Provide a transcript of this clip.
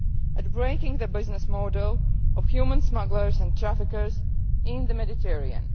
at breaking the business model' of human smugglers and traffickers in the Mediterranean.